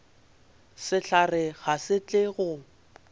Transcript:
sehlare ga se tle go